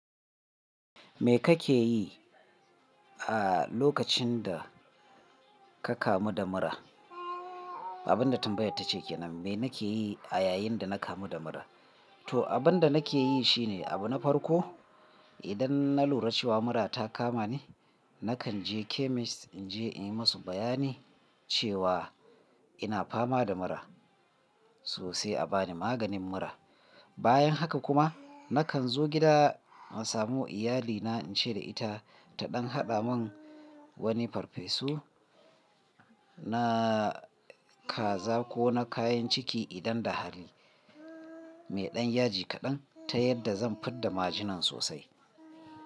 Me kake yi a lokacin da ka kamu da mura? Abin da tambayar ta ce kenan, me nake yi a yayin da na kamu da mura? To abin da nake yi shi ne, abu na farko idan na lura cewa mura ta kama ni, nakan je chemist in je in yi musu bayani cewa ina fama da mura so sai a bani maganin mura. Bayan haka kuma nakan zo gida in samu iyalina in ce da ita ta ɗan haɗa mun wani farfesu na kaza ko na kayan ciki idan da hali, mai ɗan yaji kaɗan ta yadda zan fidda majina sosai.